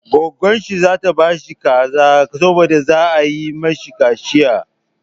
Gwaggon shi za ta ba shi kaza saboda za a yi mashi kaciya.